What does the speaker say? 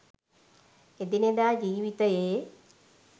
එදිනෙදා ජීවිතයේ